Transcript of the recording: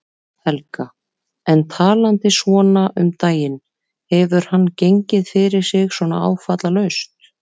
Helga: En talandi svona um daginn, hefur hann gengið fyrir sig svona áfallalaust?